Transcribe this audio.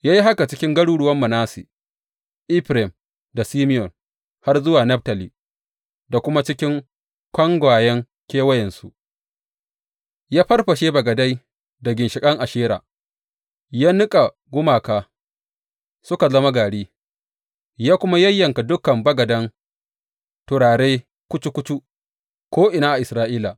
Ya yi haka cikin garuruwan Manasse, Efraim da Simeyon, har zuwa Naftali, da kuma cikin kangwayen kewayensu, ya farfashe bagadai da ginshiƙan Ashera; ya niƙa gumaka suka zama gari, ya kuma yayyanka dukan bagadan turare kucu kucu ko’ina a Isra’ila.